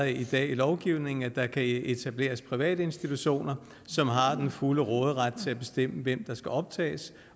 i dag i lovgivningen at der kan etableres private institutioner som har den fulde råderet til at bestemme hvem der skal optages